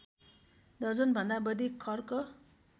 दर्जनभन्दा बढी खर्क